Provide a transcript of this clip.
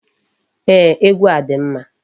Ee, egwu a dị mma.